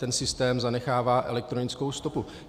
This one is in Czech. Ten systém zanechává elektronickou stopu.